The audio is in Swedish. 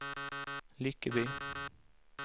Lyckeby